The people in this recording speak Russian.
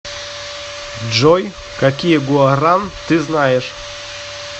джой какие гуаран ты знаешь